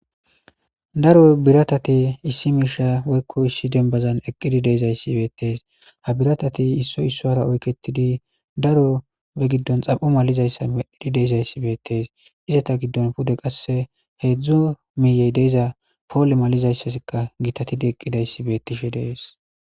daro biratati issi miisha woykko issi denbazan eqqidi deezayssi beettees ha biratati issoy issoara oyketidi daro be giddon xam7u malizayssa eqidi deezayssi beettees izata giddon pude qasse heedzdzo miyey deiza poole malizayssasika gitatidi eqqidayssi beettishe dees